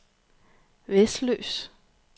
Vesløs